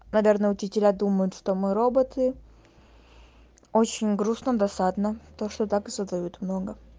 наверное учителя думают что мы роботы очень грустно досадно то что так и задают много